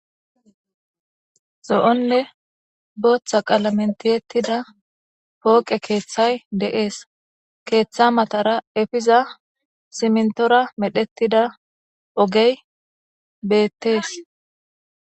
Zo'onne booththa qalamen tiyettida pooqe keeththay de'ees. Keeththa matara efiza simintora medhettida ogey beetees.